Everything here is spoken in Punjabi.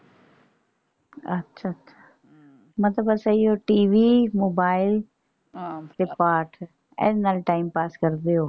ਅੱਛਾ ਅੱਛਾ ਮਤਬਲ ਸਹੀ ਉਹ TV mobile ਹਾਂ ਤੇ ਪਾਠ ਇਹਦੇ ਨਾਲ time pass ਕਰਦੇ ਹੋ।